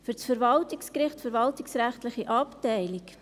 Für das Verwaltungsgericht, verwaltungsrechtliche Abteilung: